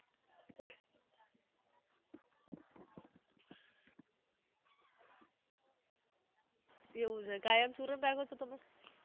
એવુ છે કાયમ ચુરન રાખો છો તમે?